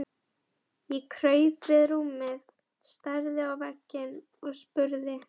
Ég kraup við rúmið, starði á vegginn og spurði